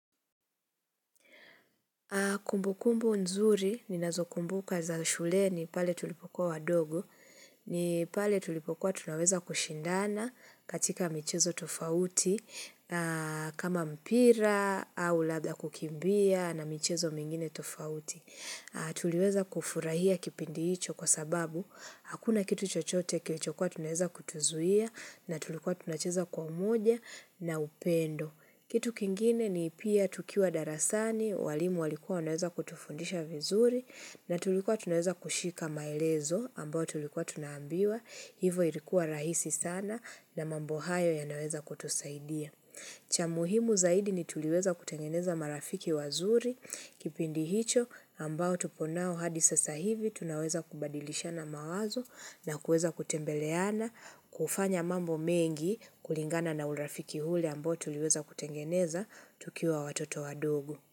Kumbu kumbu nzuri, ninazo kumbuka za shuleni pale tulipokua wadogo, ni pale tulipokua tunaweza kushindana katika michezo tofauti, kama mpira au labda kukimbia na michezo mingine tofauti. Tuliweza kufurahia kipindi hicho kwa sababu, hakuna kitu chochote kilichokua tunaweza kutuzuia na tulikua tunacheza kwa moja na upendo. Kitu kingine ni pia tukiwa darasani, walimu walikuwa wanaweza kutufundisha vizuri na tulikuwa tunaweza kushika maelezo ambayo tulikuwa tunaambiwa, hivo ilikuwa rahisi sana na mambo hayo yanaweza kutusaidia. Cha muhimu zaidi ni tuliweza kutengeneza marafiki wazuri kipindi hicho ambao tupo nao hadi sasa hivi tunaweza kubadilishana mawazo na kuweza kutembeleana, kufanya mambo mengi kulingana na urafiki ule ambao tuliweza kutengeneza tukiwa watoto wadogo.